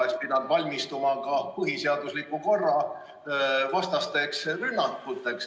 ... oleks pidanud valmistuma ka põhiseadusliku korra vastasteks rünnakuteks.